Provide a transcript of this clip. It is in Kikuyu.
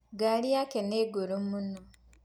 Ngari yake nĩ ngũrũ mũno.